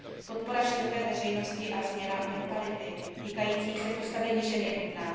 Podpora široké veřejnosti a změna mentality týkající se postavení žen je nutná.